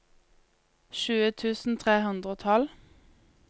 tjue tusen tre hundre og tolv